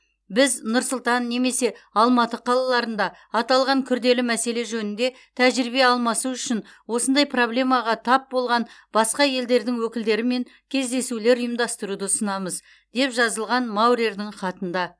біз нұр сұлтан немесе алматы қалаларында аталған күрделі мәселе жөнінде тәжірибе алмасу үшін осындай проблемаға тап болған басқа елдердің өкілдерімен кездесулер ұйымдастыруды ұсынамыз деп жазылған маурердің хатында